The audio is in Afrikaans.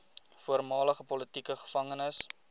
voormalige politieke gevangenes